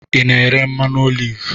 Ị na-ere mmanụ oliv?